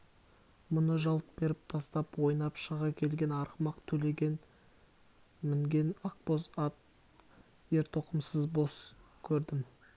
мұны жалт беріп тастап ойнап шыға келген арғымақ төлеген мінген ақбоз ат ертоқымсыз бос көрдім